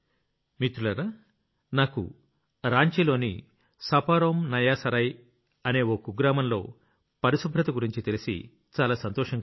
మిత్రులారా నాకు రాంచీలోని सपारोमनयासराय ఓ కుగ్రామంలో పరిశుభ్రత గురించి తెలిసి చాలా సంతోషం కలిగింది